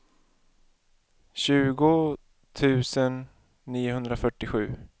tjugo tusen niohundrafyrtiosju